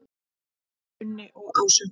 Unni og Ásu.